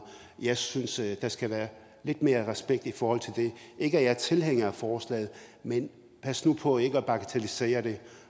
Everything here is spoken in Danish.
jeg synes der skal være lidt mere respekt i forhold til det ikke at jeg er tilhænger af forslaget men pas nu på ikke at bagatellisere det